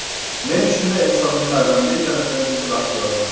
Men shunday insonning farzandi ekanimdan juda baxtiyorman.